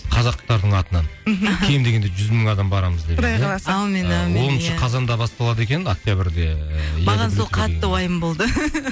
қазақтардың атынан мхм кем дегенде жүз мың адам барамыз деп иә құдай қаласа әумин әумин иә оныншы қазанда басталады екен октябрьде маған сол қатты уайым болды